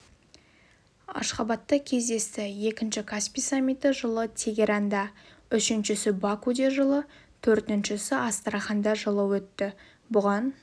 ашхабадта кездесті екінші каспий саммиті жылы тегеранда үшіншісі бакуде жылы төртіншісі астраханда жылы өтті бұған